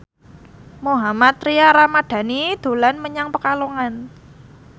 Mohammad Tria Ramadhani dolan menyang Pekalongan